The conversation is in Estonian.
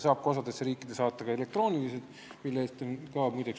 Osas riikides saab seda vormi ka elektrooniliselt saata, mille eest on, muide, lõiv ette nähtud.